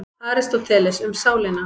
Aristóteles, Um sálina.